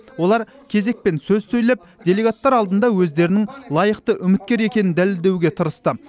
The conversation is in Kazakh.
олар кезекпен сөз сөйлеп делегаттар алдында өздерінің лайықты үміткер екенін дәлелдеуге тырысты